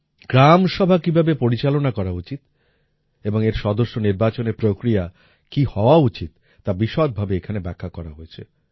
গ্রামসভা কীভাবে পরিচালনা করা উচিত এবং এর সদস্য নির্বাচনের প্রক্রিয়া কী হওয়া উচিত তা বিশদভাবে এখানে ব্যাখ্যা করা হয়েছে